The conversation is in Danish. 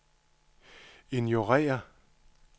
ignorér